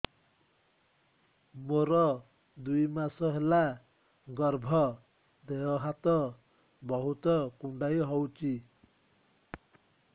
ମୋର ଦୁଇ ମାସ ହେଲା ଗର୍ଭ ଦେହ ହାତ ବହୁତ କୁଣ୍ଡାଇ ହଉଚି